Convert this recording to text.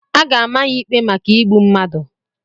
A ga-ama ya ikpe maka igbu mmadụ.